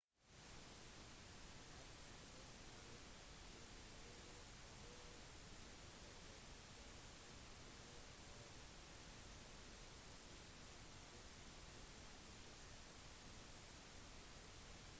han har også tidligere vært anklaget for brudd på opphavsrettigheter men har ikke blitt siktet